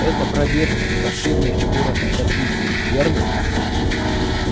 эта пробежка последняя фигура кадрили верно